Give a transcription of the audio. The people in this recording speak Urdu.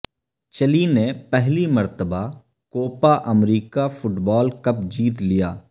چلی نے پہلی مرتبہ کوپا امریکہ فٹبال کپ جیت لیا